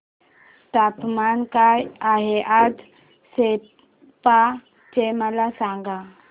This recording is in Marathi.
तापमान काय आहे आज सेप्पा चे मला सांगा